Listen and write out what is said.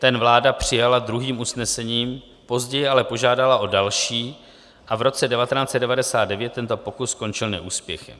ten vláda přijala druhým usnesením, později ale požádala o další a v roce 1999 tento pokus skončil neúspěchem.